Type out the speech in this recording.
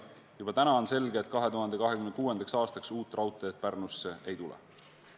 Juba täna on selge, et 2026. aastaks uut raudteed Pärnusse ei tule.